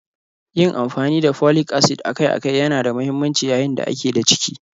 Yin amfani da Folic acid akai-akai yana da mahimmanci yayin da a ke da ciki.